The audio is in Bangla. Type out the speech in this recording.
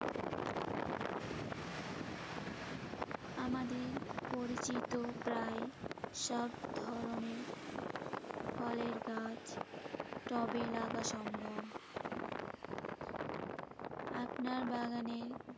আমাদের পরিচিত প্রায় সব ধরনের ফলের গাছ টবে লাগা সম্ভব। আপনার বাগানের